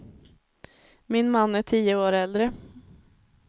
Min man är tio år äldre.